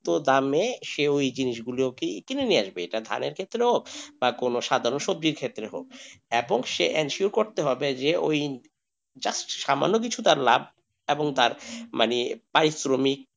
তো দামে সে ওই জিনিসগুলোকে কিনে নিয়ে আসবে তো ধানের ক্ষেত্রে হোক বা কোনো সাধারণ সবজির ক্ষেত্রে হোক এবং সে ensure করতে হবে যে just সামান্য কিছু তার লাভ এবং তার মানে পারিশ্রমিক,